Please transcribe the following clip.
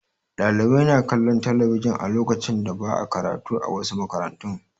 Ɗalibai na kalllon talabijin a lokacin da ba'a karatu, a wasu makarantun.